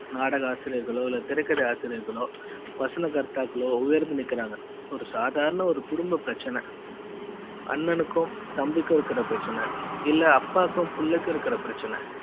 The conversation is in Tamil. நாடக ஆசிரியர்களோ திரைக்கதை ஆசிரியர்களோ வசனகர்த்தாக்களோ உயர்ந்து நிக்குறாங்க ஒரு சாதாரண ஒரு குடும்ப பிரச்சனை அண்ணனுக்கும் தம்பிக்கு இருக்குற பிரச்சன இல்ல அப்பாவுக்கும் பிள்ளைக்கு இருக்குற பிரச்சனை